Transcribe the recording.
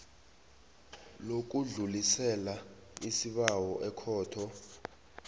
lokudlulisela isibawo ekhotho